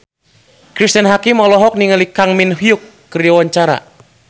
Cristine Hakim olohok ningali Kang Min Hyuk keur diwawancara